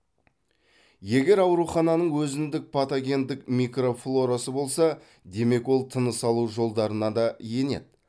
егер аурухананың өзіндік патогендік микрофлорасы болса демек ол тыныс алу жолдарына да енеді